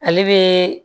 Ale bɛ